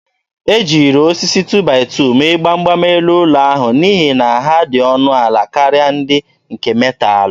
E jiri osisi 2-by-2 mee gbam gbam elu ụlọ ahụ n'ihi na ha dị ọnụ ala karịa ndị nke metalụ.